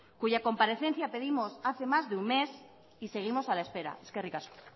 cuya comparecencia pedimos hace más de un mes y seguimos a la espera eskerrik asko